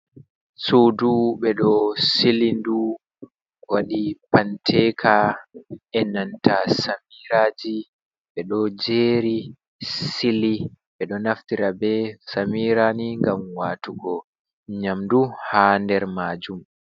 Suudu ɓe ɗo sili ndu, waɗi panteka e nanta samiiraaji, ɓe ɗo jeeri, sili, ɓe ɗo naftira be samiira ni ngam waatugo nyamdu haa nder maajum.